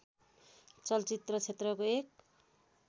चलचित्र क्षेत्रको एक